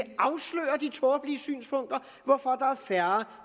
tåbelige synspunkter hvorfor der er færre